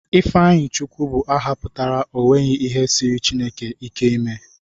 Ifeanyichukwu bụ aha pụtara 'o nweghi ihe siiri Chineke ike ime'